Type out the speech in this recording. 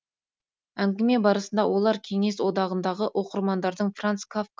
әңгіме барысында олар кеңес одағындағы оқырмандардың франц кафка